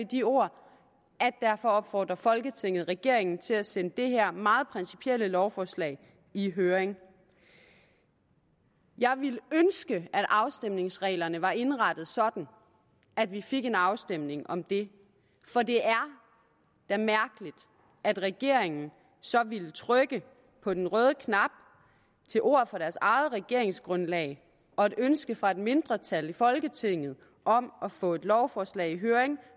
de ord at derfor opfordrer folketinget regeringen til at sende det her meget principielle lovforslag i høring jeg ville ønske at afstemningsreglerne var indrettet sådan at vi fik en afstemning om det for det er da mærkeligt at regeringen så ville trykke på den røde knap til ord fra deres eget regeringsgrundlag og et ønske fra et mindretal i folketinget om at få et lovforslag i høring